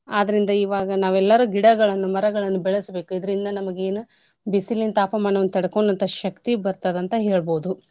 ಅದ್ರೀಂದ ಇವಾಗ ನಾವೆಲ್ಲರು ಗಿಡಗಳನ್ನು ಮರಗಳನ್ನು ಬೆಳೆಸ್ಬೇಕು. ಇದ್ರಿಂದ ನಮ್ಗ ಏನೂ ಬಿಸಿಲಿನ್ ತಾಪಮಾನವನ್ನ ತಡ್ಕೊಳ್ಳವಂತ ಶಕ್ತಿ ಬರ್ತದ ಅಂತ ಹೇಳ್ಬೋದು.